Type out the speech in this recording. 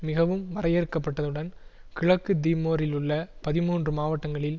மிகவும் வரையறுக்கப்பட்டதுடன் கிழக்கு தீமோரிலுள்ள பதிமூன்று மாவட்டங்களில்